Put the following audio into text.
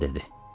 Sıcan dedi.